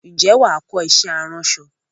Ǹjẹ́ wàá kọ iṣẹ́ aránṣọ?